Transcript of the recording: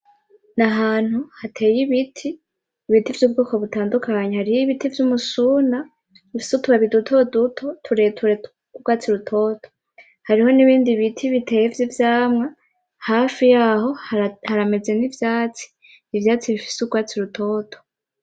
Nahantu hateye ibiti, ibiti vyubwoko butandukanye, hariho ibiti vyumusuna bifise utubabi dutoduto tureture twurwatsi rutoto, hariho nibindi biti biteye vyivyamwa, hafi yaho harameza nivyatsi, ivyatsi bifise nurwatsi rutoto